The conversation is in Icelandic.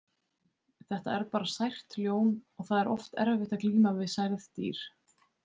Þetta er bara sært ljón og það er oft erfitt að glíma við særð dýr.